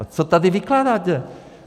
Tak co tady vykládáte?